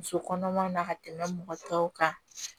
Muso kɔnɔmaw na ka tɛmɛ mɔgɔ tɔw kan